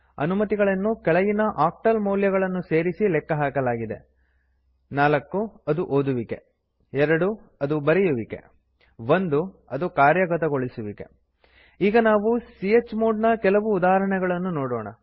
ಅನುಮತಿಗಳನ್ನು ಕೆಳಗಿನ ಆಕ್ಟಲ್ ಮೌಲ್ಯಗಳು ಸೇರಿಸಿ ಲೆಕ್ಕಹಾಕಲಾಗಿದೆ 4 ಅದು ಓದುವಿಕೆ 2 ಅದು ಬರೆಯುವಿಕೆ 1 ಅದು ಕಾರ್ಯಗತಗೊಳಿಸುವಿಕೆ ಈಗ ನಾವು ಚ್ಮೋಡ್ ನ ಕೆಲವು ಉದಾಹರಣೆಗಳನ್ನು ನೋಡೋಣ